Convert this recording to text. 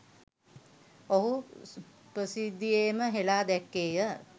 ඔහු ප්‍රසිද්ධියේම හෙළා දැක්කේය.